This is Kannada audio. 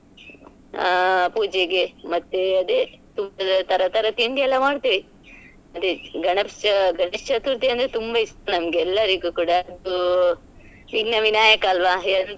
ಅ ಪೂಜೆಗೆ ಮತ್ತೆ ಅದೆ ತುಪ್ಪದ ತರತರ ತಿಂಡಿ ಎಲ್ಲ ಮಾಡ್ತೇವೆ ಅದೇ ಗಣೇಶ ಗಣೇಶ ಚತುರ್ಥಿ ಅಂದ್ರೆ ತುಂಬಾ ಇಷ್ಟ ನಂಗೆ ನಮ್ಗೆ ಎಲ್ಲರಿಗೂ ಕೂಡ ಅದು ವಿಘ್ನ ವಿನಾಯಕ ಅಲ್ಲ್ವ.